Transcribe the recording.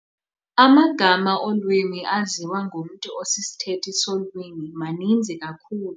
Amagama olwimi aziwa ngumntu osisithethi solwimi maninzi kakhulu.